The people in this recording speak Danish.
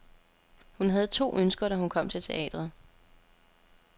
Hun havde to ønsker, da hun kom til teatret.